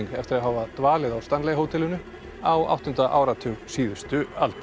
eftir að hafa dvalið á Stanley hótelinu á áttunda áratug síðustu aldar